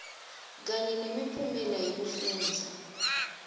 kanye nemiphumela yekufundza